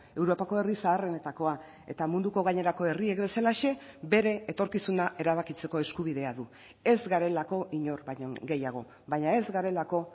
europako herri zaharrenetakoa eta munduko gainerako herriek bezalaxe bere etorkizuna erabakitzeko eskubidea du ez garelako inor baino gehiago baina ez garelako